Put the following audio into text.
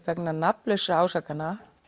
vegna nafnlausra ásakana